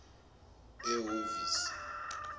ehovisi